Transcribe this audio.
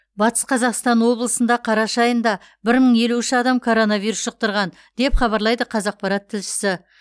батыс қазақстан облысында қараша айында бір мың елу үш адам коронавирус жұқтырған деп хабарлайды қазақпарат тілшісі